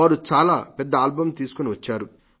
వారు చాలా పెద్ద ఆల్బమ్ తీసుకని వచ్చారు